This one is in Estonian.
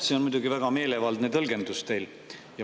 See on muidugi väga meelevaldne tõlgendus teil.